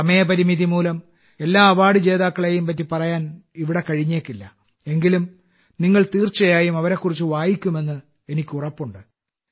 സമയപരിമിതിമൂലം എല്ലാ അവാർഡ് ജേതാക്കളെയും പറ്റി ഇവിടെ പറയാൻ കഴിഞ്ഞേക്കില്ല എങ്കിലും നിങ്ങൾ തീർച്ചയായും അവരെക്കുറിച്ച് വായിക്കുമെന്ന് എനിക്ക് ഉറപ്പുണ്ട്